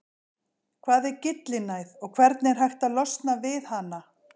hvað er gyllinæð og hvernig er hægt að losna við hana